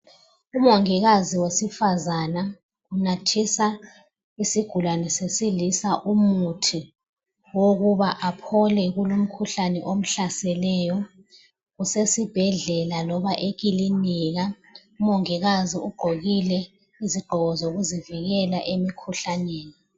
Umongikazi wesifazana unathisa isigulane sesilisa umuthi wokuba aphole kulumkhuhlane omhlaseleyo. Kusesibhedlela loba ekilinika. Umongikazi ugqokile izigqoko zokuzivikela emkhuhlaneni.